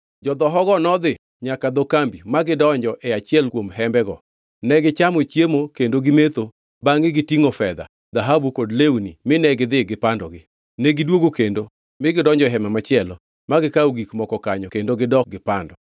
Jodhohogo nodhi nyaka dho kambi ma gidonjo e achiel kuom hembego. Negichamo chiemo kendo gimetho bangʼe gitingʼo fedha, dhahabu kod lewni mine gidhi gipandogi. Negidwogo kendo mi gidonjo e hema machielo, ma gikawo gik moko kanyo kendo gidok gipando.